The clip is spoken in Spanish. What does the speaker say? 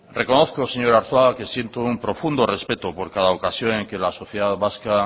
reconozco señor arzuaga que siento un profundo respeto por cada ocasión en que la sociedad vasca